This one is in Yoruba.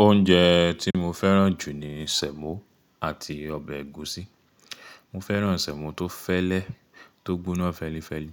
Oúnjẹ tí mo fẹ́ràn jù ni sẹ̀mọ́ àti ọbẹ̀ ẹ̀gúsí. Mo fẹ́ràn sẹ̀mọ́ tó fẹ́lẹ́, tó gbóná fẹ́lifẹ́li,